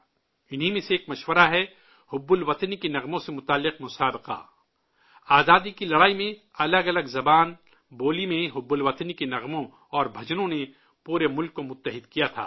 انہی میں سے ایک مشورہ ہے، حب الوطنی کے گیتوں سے جڑا مقابلہ! آزادی کی لڑائی میں الگ الگ زبان، بولی میں، حب الوطنی کے گیتوں اور بھجنوں نے پورے ملک کو متحد کیا تھا